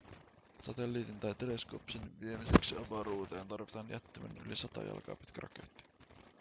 satelliitin tai teleskoopin viemiseksi avaruuteen tarvitaan jättimäinen yli 100 jalkaa pitkä raketti